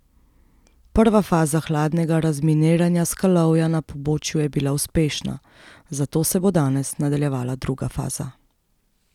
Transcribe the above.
Prva faza hladnega razminiranja skalovja na pobočju je bila uspešna, zato se bo danes nadaljevala druga faza.